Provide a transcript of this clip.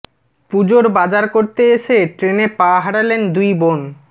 পুজোর বাজার করতে এসে ট্রেনে পা হারালেন দুই বোন